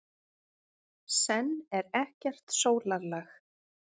Senn er ekkert sólarlag.